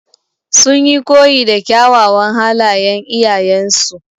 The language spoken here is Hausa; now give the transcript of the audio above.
Sun yi koyi da kyawawan halayan iyayen su.